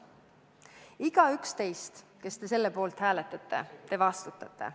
Igaüks teist, kes te selle poolt hääletate – te vastutate.